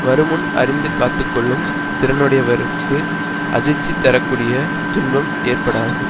வருமுன் அறிந்து காத்து கொள்ளும் திறனுடையவர்களுக்கு அதிர்ச்சி தர கூடிய துன்பம் ஏற்படாது